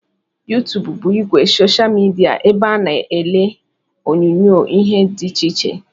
YouTube bụ ìgwè soshal midia ebe a na-ele onyonyoo ihe dị iche iche